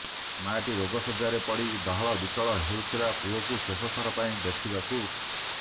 ମାଆଟି ରୋଗ ଶଯ୍ୟାରେ ପଡ଼ି ଡହଳ ବିକଳ ହଉଥିଲା ପୁଅକୁ ଶେଷ ଥର ପାଇଁ ଦେଖିବାକୁ